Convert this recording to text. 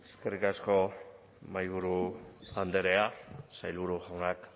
eskerrik asko mahaiburu andrea sailburu jaunak